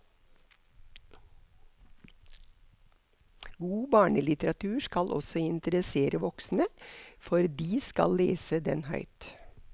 God barnelitteratur skal også interessere voksne, for de skal lese den høyt.